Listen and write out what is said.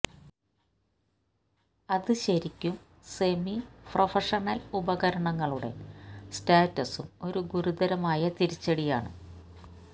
അത് ശരിക്കും semi professional ഉപകരണങ്ങളുടെ സ്റ്റാറ്റസും ഒരു ഗുരുതരമായ തിരിച്ചടി ആണ്